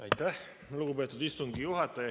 Aitäh, lugupeetud istungi juhataja!